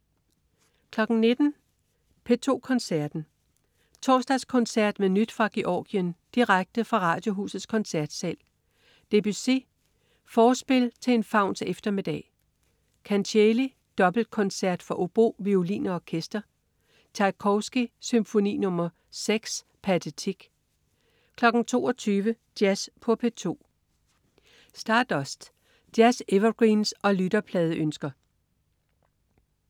19.00 P2 Koncerten. Torsdagskoncert med nyt fra Georgien. Direkte fra Radiohusets Koncertsal. Debussy: Forspil til en fauns eftermiddag. Kancheli: Dobbeltkoncert for obo, violin og orkester. Tjajkovskij: Symfoni nr. nr. 6, Pathétique 22.00 Jazz på P2. Stardust. Jazz-evergreens og lytterpladeønsker